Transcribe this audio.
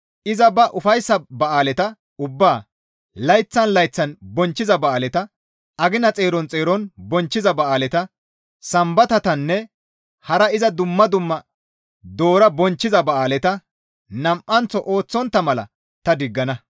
Iza ba ufayssa ba7aaleta ubbaa, layththan layththan bonchchiza ba7aaleta, agina xeeron xeeron bonchchiza ba7aaleta, Sambatatanne hara iza dumma dumma doora bonchchiza ba7aaleta nam7anththo ooththontta mala ta diggana.